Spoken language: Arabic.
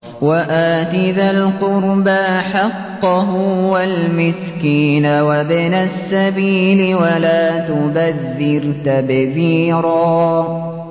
وَآتِ ذَا الْقُرْبَىٰ حَقَّهُ وَالْمِسْكِينَ وَابْنَ السَّبِيلِ وَلَا تُبَذِّرْ تَبْذِيرًا